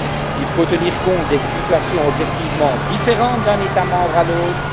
Il faut tenir compte des situations objectivement différentes d'un État membre à l'autre